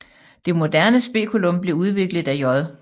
Det moderne speculum blev udviklet af J